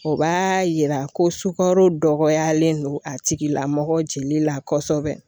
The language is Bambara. O b'a yira ko sukaro dɔgɔyalen don a tigilamɔgɔ jeli la kɔsɔbɛ.